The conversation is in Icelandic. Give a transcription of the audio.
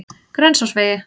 Grensásvegi